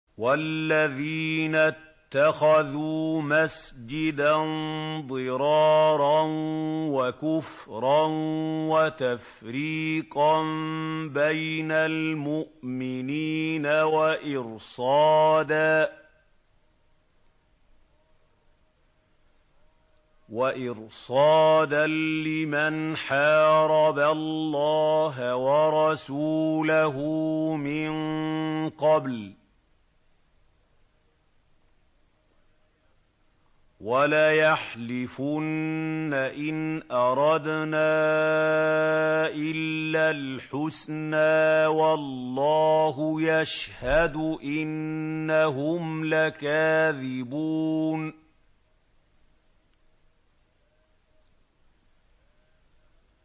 وَالَّذِينَ اتَّخَذُوا مَسْجِدًا ضِرَارًا وَكُفْرًا وَتَفْرِيقًا بَيْنَ الْمُؤْمِنِينَ وَإِرْصَادًا لِّمَنْ حَارَبَ اللَّهَ وَرَسُولَهُ مِن قَبْلُ ۚ وَلَيَحْلِفُنَّ إِنْ أَرَدْنَا إِلَّا الْحُسْنَىٰ ۖ وَاللَّهُ يَشْهَدُ إِنَّهُمْ لَكَاذِبُونَ